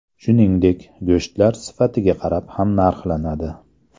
Shuningdek, go‘shtlar sifatiga qarab ham narxlanadi.